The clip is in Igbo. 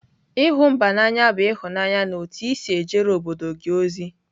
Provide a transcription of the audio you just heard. ịhụ mba n'anya bụ ịhụnanya na otu i si ejere obodo gị ozi.